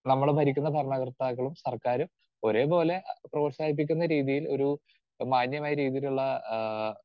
speaker 2 നമ്മളെ ഭരിക്കുന്ന ഭരണകർത്താക്കളും സർക്കാരും ഒരേപോലെ പ്രോത്സാഹിപ്പിക്കുന്ന രീതിയിൽ ഒരു മാന്യമായ രീതിയിലുള്ള ആഹ്